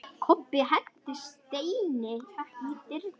Kobbi henti steini í dyrnar.